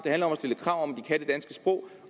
om